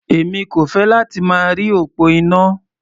Èmi kò fẹ́ láti máa rí òpó iná.